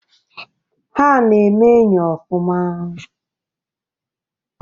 Ha na-eme enyi ọfụma.